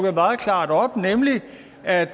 at